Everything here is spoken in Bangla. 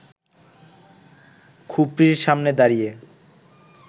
খুপরির সামনে দাঁড়িয়ে